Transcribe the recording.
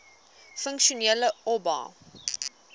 funksionele oba